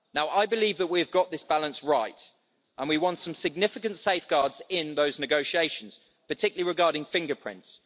I believe that we have got this balance right and we won some significant safeguards in those negotiations, particularly regarding fingerprints.